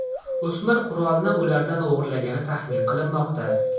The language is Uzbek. O‘smir qurolni ulardan o‘g‘irlagani taxmin qilinmoqda.